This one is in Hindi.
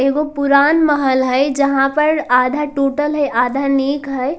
एगो पूरान महल हय जहां पर आधा टुटल हय आधा निग हय।